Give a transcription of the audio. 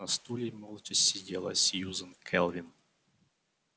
на стуле молча сидела сьюзен кэлвин